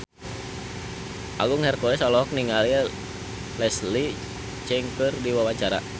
Agung Hercules olohok ningali Leslie Cheung keur diwawancara